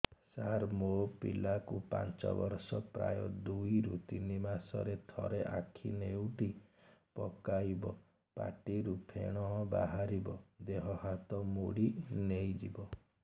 ସାର ମୋ ପିଲା କୁ ପାଞ୍ଚ ବର୍ଷ ପ୍ରାୟ ଦୁଇରୁ ତିନି ମାସ ରେ ଥରେ ଆଖି ନେଉଟି ପକାଇବ ପାଟିରୁ ଫେଣ ବାହାରିବ ଦେହ ହାତ ମୋଡି ନେଇଯିବ